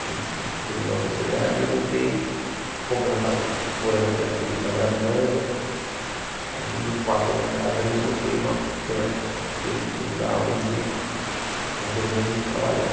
A gente terminou a sociedade e eu montei, como eu já estava morando aqui na Fregues, na Brasilândia, em um dos quartos da minha casa, eu montei uma pequena um pequeno estúdio lá onde onde eu venho trabalhando.